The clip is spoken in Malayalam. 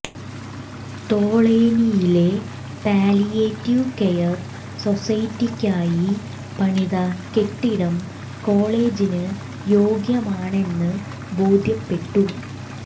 തോളേനിയിലെ പാലിയേറ്റീവ് കെയർ സൊസൈറ്റിക്കായി പണിത കെട്ടിടം കോളേജിന് യോഗ്യമാണെന്ന് ബോധ്യപ്പെട്ടു